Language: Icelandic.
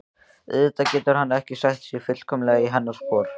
Auðvitað getur hann ekki sett sig fullkomlega í hennar spor.